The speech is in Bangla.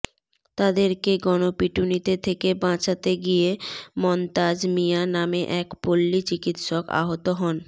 তাদেরকে গণপিটুনিতে থেকে বাঁচাতে গিয়ে মন্তাজ মিয়া নামে এক পল্লী চিকিৎসক আহত হন